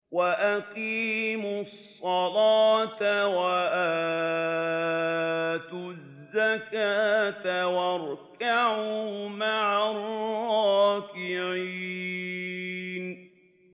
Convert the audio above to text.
وَأَقِيمُوا الصَّلَاةَ وَآتُوا الزَّكَاةَ وَارْكَعُوا مَعَ الرَّاكِعِينَ